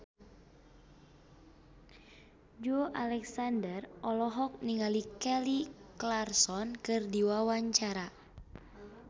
Joey Alexander olohok ningali Kelly Clarkson keur diwawancara